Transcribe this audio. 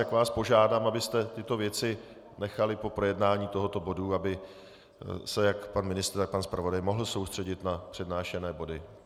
Tak vás požádám, abyste tyto věci nechali po projednání tohoto bodu, aby se jak pan ministr, tak pan zpravodaj mohl soustředit na přednášené body.